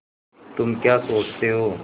तुम क्या सोचते हो